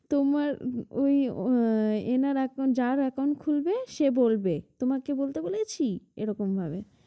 তোমার ওই উহ এনার account যার account খুলবে সে বলবে তোমাকে বলতে বলেছি? এরকমভাবে।